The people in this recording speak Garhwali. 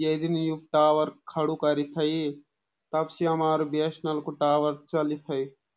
ये दिन यु टावर खडू करी थई तबसे हमारू बी.एश.एन.एल. कु टावर चली थई।